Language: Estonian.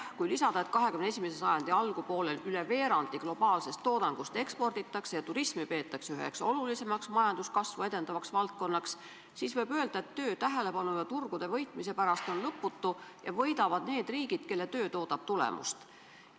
Kui lisada, et XXI sajandi algupoolel üle veerandi globaalsest toodangust eksporditakse ja turismi peetakse üheks olulisemaks majanduskasvu edendavaks valdkonnaks, siis võib öelda, et töö tähelepanu ja turgude võitmise pärast on lõputu ning võidavad need riigid, kelle töö toodab tulemust.